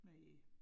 Næ